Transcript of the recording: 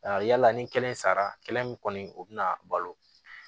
yala ni kelen sara kelen min kɔni o bɛna balo